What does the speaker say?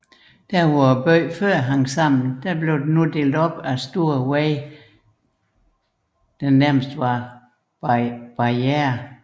Hvor byen før hang sammen blev den nu opdelt af større veje der fremstod som barrierer